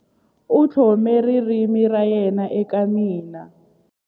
U tlhome ririmi ra yena eka mina.